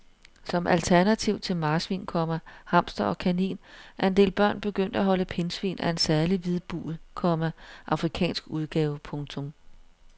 Som alternativ til marsvin, komma hamster og kanin er en del børn begyndt at holde pindsvin af en særlig hvidbuget, komma afrikansk udgave. punktum